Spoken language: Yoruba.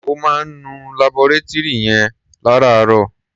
Ó máa ń nu labọretúrì yìí lárààárọ̀.